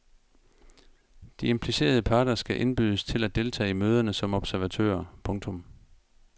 De implicerede parter skal indbydes til at deltage i møderne som observatører. punktum